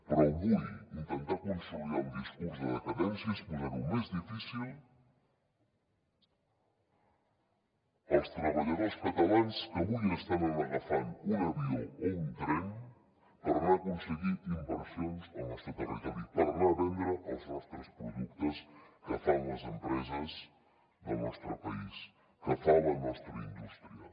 però avui intentar consolidar un discurs de decadència és posar ho més difícil als treballadors catalans que avui estan agafant un avió o un tren per anar a aconseguir inversions al nostre territori per anar a vendre els productes que fan les empreses del nostre país que fa la nostra indústria